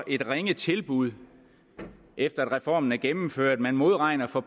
og et ringe tilbud efter at reformen er gennemført man modregner for